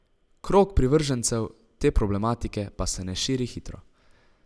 Krog privržencev te problematike pa se ne širi hitro.